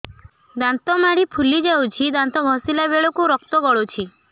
ଦାନ୍ତ ମାଢ଼ୀ ଫୁଲି ଯାଉଛି ଦାନ୍ତ ଘଷିଲା ବେଳକୁ ରକ୍ତ ଗଳୁଛି